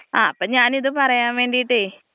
ആ അപ്പൊ ഞാനിത് പറയാൻ വേണ്ടീട്ടെ.